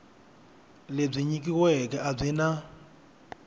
lebyi nyikiweke a byi na